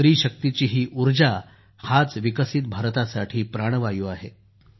स्त्रीशक्तीची ही ऊर्जा हाच विकसित भारतासाठी प्राणवायू आहे